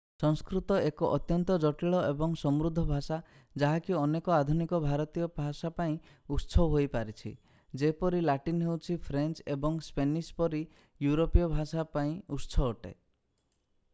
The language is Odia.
ସଂସ୍କୃତ ଏକ ଅତ୍ୟନ୍ତ ଜଟିଳ ଏବଂ ସମୃଦ୍ଧ ଭାଷା ଯାହାକି ଅନେକ ଆଧୁନିକ ଭାରତୀୟ ଭାଷା ପାଇଁ ଉତ୍ସ ହୋଇପାରିଛି ଯେପରି ଲାଟିନ୍ ହେଉଛି ଫ୍ରେଞ୍ଚ ଏବଂ ସ୍ପେନିସ୍ ପରି ୟୁରୋପୀୟ ଭାଷା ପାଇଁ ଉତ୍ସ ଅଟେ